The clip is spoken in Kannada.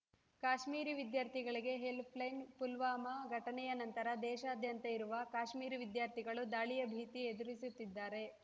ಕಾಶ್ಮೀರಿ ವಿದ್ಯಾರ್ಥಿಗಳಿಗೆ ಹೆಲ್ಪ್‌ಲೈನ್‌ ಪುಲ್ವಾಮಾ ಘಟನೆಯ ನಂತರ ದೇಶಾದ್ಯಂತ ಇರುವ ಕಾಶ್ಮೀರಿ ವಿದ್ಯಾರ್ಥಿಗಳು ದಾಳಿಯ ಭೀತಿ ಎದುರಿಸುತ್ತಿದ್ದಾರೆ